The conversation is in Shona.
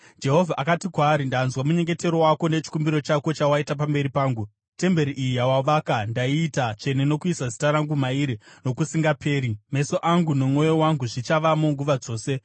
Jehovha akati kwaari: “Ndanzwa munyengetero wako nechikumbiro chako chawaita pamberi pangu; temberi iyi yawavaka ndaiita tsvene, nokuisa Zita rangu mairi nokusingaperi. Meso angu nomwoyo wangu zvichavamo nguva dzose.